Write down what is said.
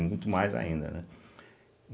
muito mais ainda, né?